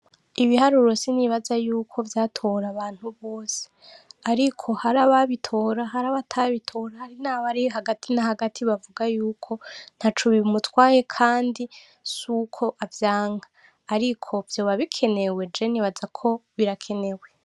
ibiharuro sinibaza ko vyatora abantu bose ariko hari ababitora natabitora hari nabari hagati nahagati bavuga yuko ntaco bimutwaye kandi suko avyanka ariko vyoba kinewe jewe nibaza ko birakenewe.